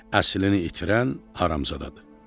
Əslini itirən haramzadadır.